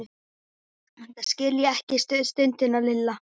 Þetta skil ég ekki stundi Lilla.